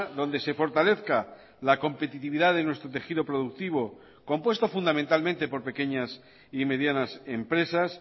donde se fortalezca la competitividad de nuestro tejido productivo compuesto fundamentalmente por pequeñas y medianas empresas